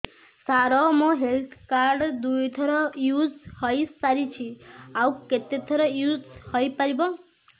ସାର ମୋ health card ଦୁଇ ଥର ୟୁଜ଼ ହୈ ସାରିଛି ଆଉ କେତେ ଥର ୟୁଜ଼ ହୈ ପାରିବ